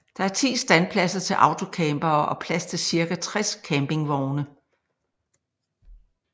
Der er 10 standpladser til autocampere og plads til cirka 60 campingvogne